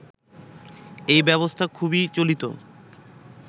এ ব্যবস্থা খুবই চলিত